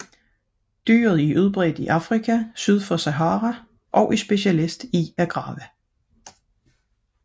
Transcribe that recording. Dyret er udbredt i Afrika syd for Sahara og er specialist i at grave